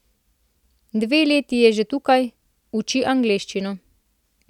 Dve leti je že tukaj, uči angleščino.